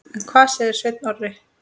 En hvað segir Sveinn Orri?